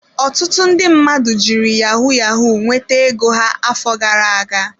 Ọtụtụ ndị mmadụ jiri yahu-yahu nweta ego ha afọ gara aga.